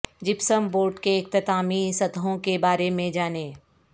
gypsum board کے اختتامی سطحوں کے بارے میں جانیں